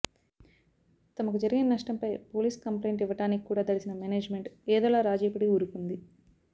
తమకు జరిగిన నష్టంపై పోలీసు కంప్లయింట్ యివ్వడానికి కూడా దడిసిన మేనేజ్మెంట్ ఏదోలా రాజీపడి వూరుకుంది